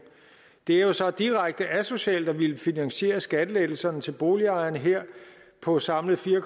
det er jo så direkte asocialt at ville finansiere skattelettelserne til boligejerne her på samlet fire